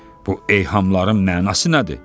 Bu eyhamlarım mənası nədir?